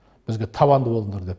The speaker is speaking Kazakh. бізге табанды болыңдар деді